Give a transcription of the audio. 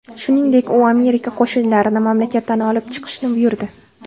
Shuningdek, u Amerika qo‘shinlarini mamlakatdan olib chiqishni buyurdi.